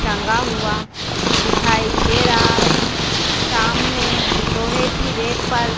टंगा हुआ दिखाई दे रहा है सामने लोहे की रैक पर--